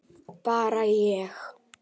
Bara ég?